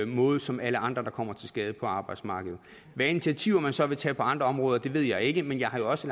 måde som alle andre der kommer til skade på arbejdsmarked hvilke initiativer man så vil tage på andre områder ved jeg ikke men jeg har jo også